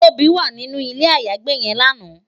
Tobi wá ninú ilé àyágbé yèn làná